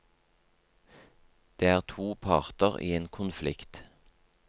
Det er to parter i en konflikt.